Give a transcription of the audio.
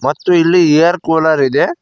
ಮತ್ತು ಇಲ್ಲಿ air cooler ಇದೆ.